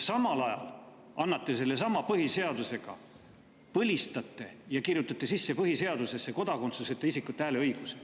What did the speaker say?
Samal ajal põlistate sellesama põhiseaduse, kirjutate põhiseadusesse sisse kodakondsuseta isikute hääleõiguse.